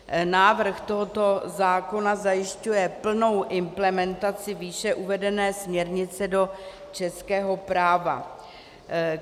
Návrh tohoto zákona zajišťuje plnou implementaci výše uvedené směrnice do českého práva.